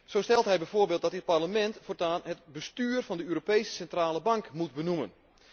Zo stelt hij bijvoorbeeld dat dit Parlement voortaan het bestuur van de Europese Centrale Bank moet benoemen.